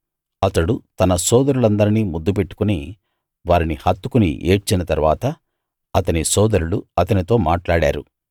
అతడు తన సోదరులందరిని ముద్దు పెట్టుకుని వారిని హత్తుకుని ఏడ్చిన తరువాత అతని సోదరులు అతనితో మాట్లాడారు